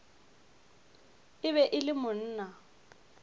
e be e le monna